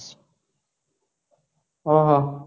ଓ ହଁ ହଁ